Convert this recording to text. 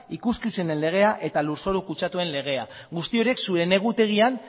ikuskizunen legea eta lurzoru kutsatuen legea guzti horiek zuen egutegian